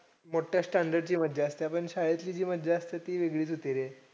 मोठया standard ची मज्जा असते. पण शाळेतली जी मज्जा असते ती वेगळीच होती रे.